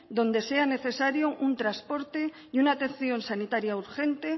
donde sea necesario un transporte y una atención sanitaria urgente